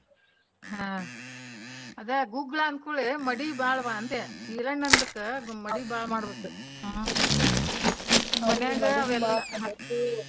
ಹಾ ಅದ ಗುಗ್ಗಳ ಅಂದಕೂಡ್ಲೇ ಮಡಿ ಬಾಳವಾ ಅಂದೆ. ಈರಣ್ಣಂದಕ್ಕ ಮಡಿ ಮಾಡ್ಬೇಕು ಹ್ಮ್ .